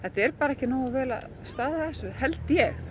er bara ekki nógu vel staðið að þessu held ég